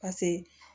Paseke